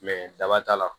daba t'a la